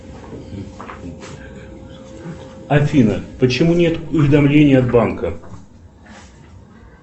афина почему нет уведомления от банка